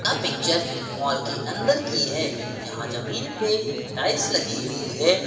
यह picture mall के अंदर की है जहां जमीन पे टाइल्स लगी हुई है।